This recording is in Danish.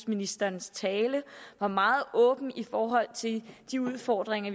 ministerens tale var meget åben i forhold til de udfordringer